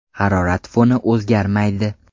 Harorat foni o‘zgarmaydi.